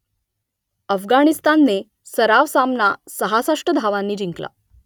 अफगाणिस्तानने सराव सामना सहासष्ट धावांनी जिंकला